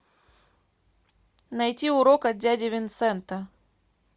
найти урок от дяди винсента